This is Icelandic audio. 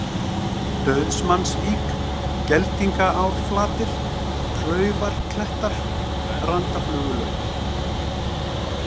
Dauðsmannsvík, Geldingaárflatir, Klaufarklettar, Randaflugulaut